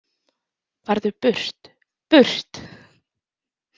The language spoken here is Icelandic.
Farðu burt, BURT!